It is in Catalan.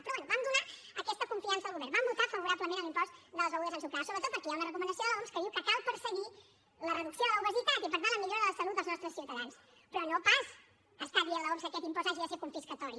però bé vam donar aquesta confiança al govern vam votar favorablement a l’impost de les begudes ensucrades sobretot perquè hi ha una recomanació de l’oms que diu que cal perseguir la reducció de l’obesitat i per tant la millora de la salut dels nostres ciutadans però no pas està dient l’oms que aquest impost hagi de ser confiscatori